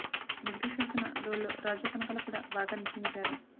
negative shades ఉన్న role లో రాజీవ్ కనకాల కూడా బాగా నటించారు